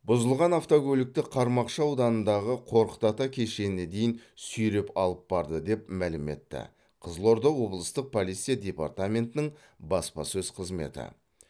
бұзылған автокөлікті қармақшы ауданындағы қорқыт ата кешеніне дейін сүйреп алып барды деп мәлім етті қызылорда облыстық полиция департаментінің баспасөз қызметі